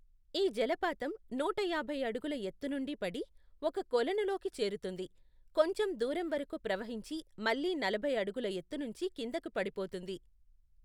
ఈ జలపాతం నూట యాభై అడుగుల ఎత్తు నుండి పడి, ఒక కొలనులోకి చేరుతుంది, కొంచెం దూరం వరకు ప్రవహించి మళ్ళీ నలభై అడుగుల ఎత్తునించి కిందకి పడిపోతుంది.